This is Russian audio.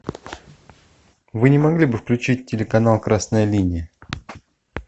вы не могли бы включить телеканал красная линия